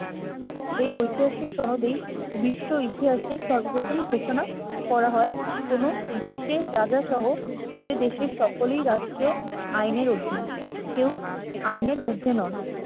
এই ঐতিহাসিক সনদেই বিশ্ব ইতিহাসে সর্বপ্রথম ঘোষণা করা হয় কোন দেশে রাজা সহ যে দেশে সকলেই রাষ্ট্রীয় আইনের অধীন কেউ আইনের ঊর্ধ্বে নন